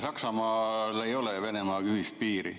Saksamaal ei ole Venemaaga ühist piiri.